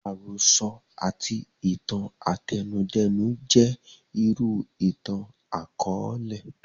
Àròsọ àti itan àtẹnudẹ́nu jẹ́ irú ìtàn àkọọlẹ